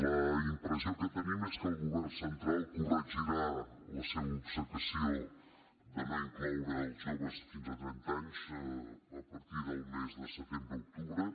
la impressió que tenim és que el govern central corregirà la seva obcecació de no incloure els joves fins a trenta anys a partir del mes de setembre o octubre